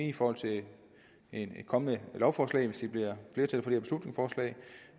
i forhold til et kommende lovforslag hvis der bliver flertal